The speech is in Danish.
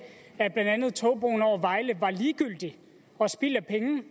togbroen over vejle er ligegyldig og spild af penge